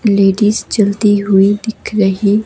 ladies चलती हुई दिख रही--